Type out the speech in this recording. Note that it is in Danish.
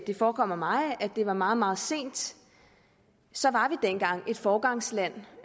det forekommer mig at det var meget meget sent så var vi dengang et foregangsland